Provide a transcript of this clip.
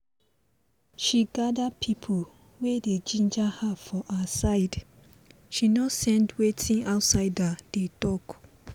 she gada pipo wey dey ginger her for her side she nor send wetin outsider dey talk